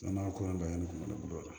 N'a ko da yɛlɛ kuma dɔ la